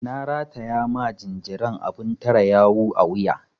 Na rataya ma jinjiran abun tare yawu a wuya.